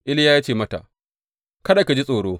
Iliya ya ce mata, Kada ki ji tsoro.